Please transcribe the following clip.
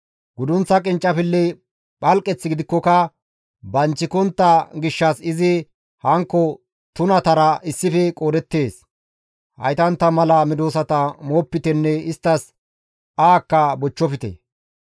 Gudunththa qinccifilley phalqeth gidikkoka banchikontta gishshas izi hankko tunatara issife qoodettees; haytantta mala medosata moopitenne isttas ahakka bochchofte.